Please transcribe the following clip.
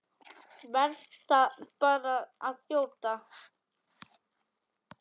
Verð bara að þjóta!